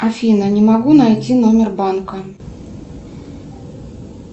афина не могу найти номер банка